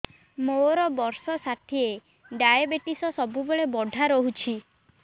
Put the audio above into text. ମୋର ବର୍ଷ ଷାଠିଏ ଡାଏବେଟିସ ସବୁବେଳ ବଢ଼ା ରହୁଛି